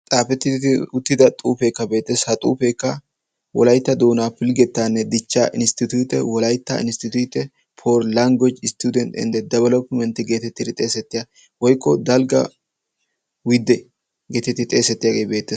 Xaafettidi uttida xuufeekka beetessi. ha xuufeekka wolaitta doonaa pilggettaanne dichcha insttituute wolaitta insttitute por langweji isttudent inde dabalophpimentti geetettiidi xeesettiyaa woikko dalgga widde geetettii xeesettiyaagee beettees.